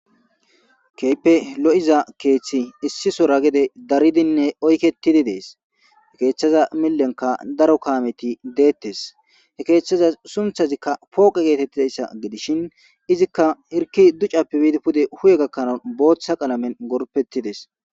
Keype lo'iza keeththi issi sora gede daridinne oykettidi dees he keeththaza millenka daro kaameti deettes he keeththaza sunthazikka pooqe geetettidayssa gidishin izikka irki ducappi biidi pude huye gakkana booththa qalamen gorpettidees.